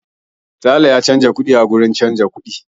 Sale ya canza kuɗi a wurin canza kuɗi.